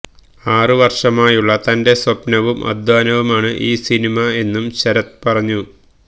ആറ് വര്ഷമായുള്ള തന്റെ സ്വപ്നവും അധ്വാനവുമാണ് ഈ സിനിമ എന്നും ശരത് പറഞ്ഞു